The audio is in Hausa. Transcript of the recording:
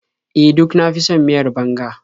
E, duk na fi son miyar banga.